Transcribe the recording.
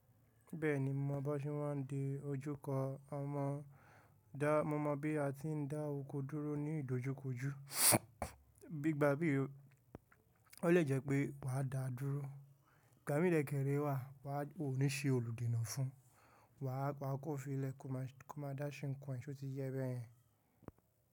Bẹ́ẹ̀ni mo mọ̀ bọ́sí wọn ń de ojú kọ ọmọ dá, mo mọ̀ bí a ti ń dá oko dúró ní ìdojúkọjú, bí i gba bí i, o lè jẹ́ pé wà á dáa dúró. Gàwúńlẹ̀ kèrè wà, wà á ó ní ṣe olùdènà fún, wà á pa ọkọ́ fi lẹ koma, koma dáṣẹ́ nǹkan sóti yẹ́ bẹ́yẹn.